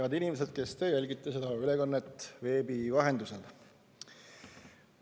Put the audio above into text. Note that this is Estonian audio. Head inimesed, kes te jälgite seda ülekannet veebi vahendusel!